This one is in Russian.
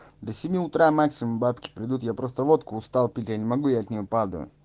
до семи утра максимум бабки придут я просто водку устал пить я не могу я от нее падаю